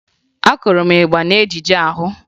Akụrụ m ịgba n'ejijie ahụ